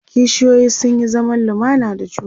kishiyoyi sun Yi zaman lumana da juna